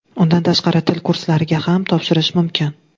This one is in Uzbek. Undan tashqari til kurslariga ham topshirish mumkin.